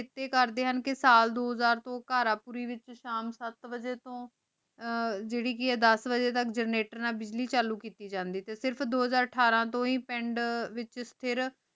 ਚੀਟੀ ਕਰਦੀ ਹਨ ਕੀ ਸਾਲ ਦੋ ਹਜ਼ਾਰ ਤੂੰ ਕਰ ਪੂਰੀ ਵੇਚ ਸ਼ਾਮ ਸਤ ਵਜੀ ਤੂੰ ਅਰ ਜੀਰੀ ਦਸ ਵਜੀ ਤਕ ਜੇਰ੍ਨਿਟਰ ਨਾਲ ਬਿਜਲੀ ਚਾਲੂ ਕੀਤੀ ਜਾਂਦੀ ਸੇ ਟੀ ਦੋ ਹਾਜਰ ਅਠਾਰਾਂ ਵੇਚ ਹੇ ਪੰਡ ਵੇਚ ਸੇਰਫ਼